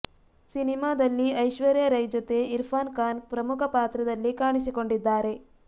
ಸಿನಿಮಾದಲ್ಲಿ ಐಶ್ವರ್ಯಾ ರೈ ಜೊತೆ ಇರ್ಫಾನ್ ಖಾನ್ ಪ್ರಮುಖ ಪಾತ್ರದಲ್ಲಿ ಕಾಣಿಸಿಕೊಂಡಿದ್ದಾರೆ